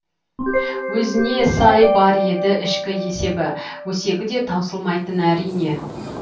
өзіне сай бар еді ішкі есебі өсегі де таусылмайтын әрине